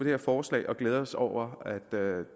her forslag og glæder os over at der